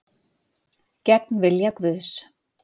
Gegn vilja Guðs